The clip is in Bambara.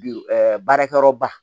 Bi baarakɛyɔrɔ ba